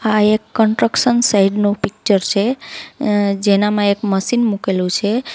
આ એક construction site નું પિક્ચર છે જેનામાં એક મશીન મૂકેલું છે.